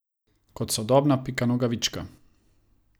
Kot sodobna Pika Nogavička.